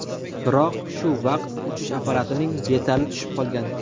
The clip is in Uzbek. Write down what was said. Biroq shu vaqt uchish apparatining detali tushib qolgan.